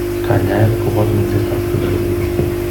Kanyaet kobot minsetab kiy neribe.